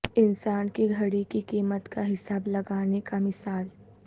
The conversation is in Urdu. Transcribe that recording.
انسان کی گھڑی کی قیمت کا حساب لگانے کا مثال